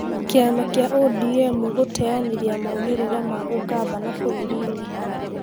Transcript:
Kĩama kia ũdiemu gũteanĩria maumĩrĩra ma ũgavana bũrũrini